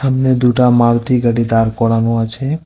সামনে দুটা মালতি গাড়ি দাঁড় করানো আছে-এ।